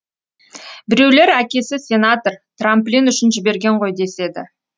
біреулер әкесі сенатор трамплин үшін жіберген ғой деседі